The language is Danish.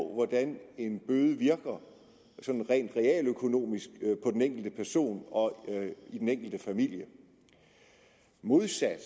hvordan en bøde virker sådan rent realøkonomisk på den enkelte person og den enkelte familie modsat